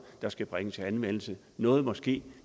der skal bringes i anvendelse noget må ske